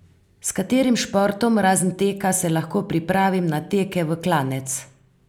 S katerim športom, razen teka, se lahko pripravim na teke v klanec?